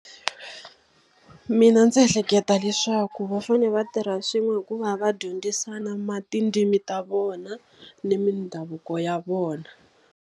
Mina ndzi ehleketa leswaku va fanele va tirha swin'we hikuva va dyondzisana tindzimi ta vona ni mindhavuko ya vona.